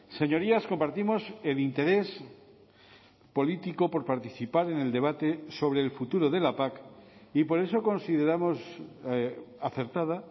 señorías compartimos el interés político por participar en el debate sobre el futuro de la pac y por eso consideramos acertada